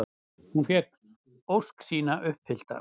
Hann fékk ósk sína uppfyllta.